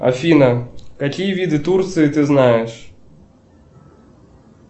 афина какие виды турции ты знаешь